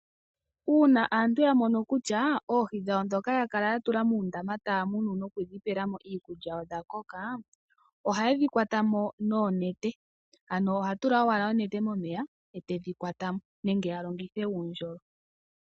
Uuna aantu yamono kutya oohi dhawo ndhoka yakala yatula muundama taya munu nokudhi pelamo iikulya odha koka, ohayedhi kwata mo noonete . Ano ohatu la owala onete momeya etedhi kwatamo nenge yalongithe uundjolo.